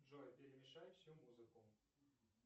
джой перемешай всю музыку